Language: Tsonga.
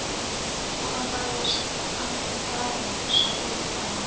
ku ambariwa swiamalo swa ku vitana